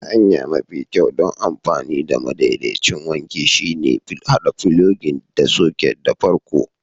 Hanya mafi kyau don amfani da madaidaicin wanki shine haɗa filogin da soket da farko.